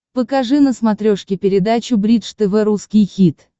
покажи на смотрешке передачу бридж тв русский хит